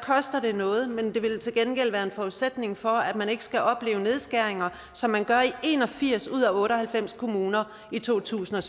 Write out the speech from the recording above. koster det noget ja men det vil til gengæld være en forudsætning for at man ikke skal opleve nedskæringer som man gør i en og firs ud af otte og halvfems kommuner i totusinde